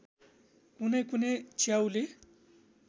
कुनै कुनै च्याउले